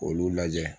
K'olu lajɛ